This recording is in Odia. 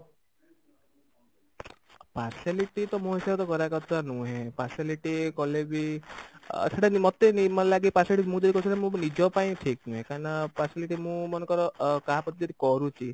partiality ତ ମୋ ହିସାବରେ ତ କରିବା କଥା ନୁହେଁ partiality କଲେ ବି ସେଟା ମୋତେ ଏମତି ଲାଗେ partiality ମୁଁ ଯେହେତୁ ଅଛି ସେଟା ନିଜ ପାଇଁ ଠିକ ନୁହେଁ କାହିଁକି ନା partiality ମୁଁ ମନେକର କାହାପ୍ରତି ଯଦି କରୁଛି